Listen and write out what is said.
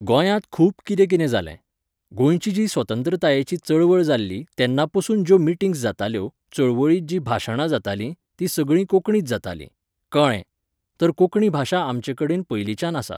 गोंयांत खूब कितें कितें जालें. गोंयची जी स्वतंत्रतायेची चळवळ जाल्ली तेन्ना पसून ज्यो मिटींग्स जाताल्यो, चळवळींत जी भाशणां जातालीं, तीं सगळीं कोंकणींत जातालीं. कळ्ळें ! तर कोंकणी भाशा आमचे कडेन पयलींच्यान आसा.